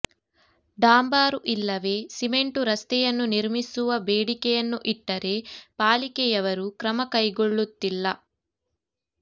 ಡಾಂಬರು ಇಲ್ಲವೇ ಸಿಮೆಂಟ್ ರಸ್ತೆಯನ್ನು ನಿರ್ಮಿಸುವ ಬೇಡಿಕೆಯನ್ನು ಇಟ್ಟರೆ ಪಾಲಿಕೆಯವರು ಕ್ರಮ ಕೈಗೊಳ್ಳುತ್ತಿಲ್ಲ